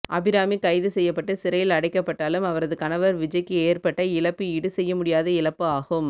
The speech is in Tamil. அபிராமி கைது செய்யப்பட்டு சிறையில் அடைக்கப்பட்டாலும் அவரது கணவர் விஜய்க்கு ஏற்பட்ட இழப்பு ஈடு செய்ய முடியாத இழப்பு ஆகும்